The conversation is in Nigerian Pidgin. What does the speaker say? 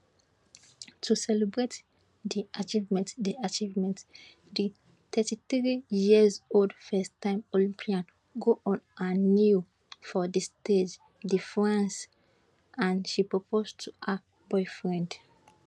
to celebrate di achievement di achievement di 33yearold firsttime olympian go on her knee for di stage de france and she propose to her boyfriend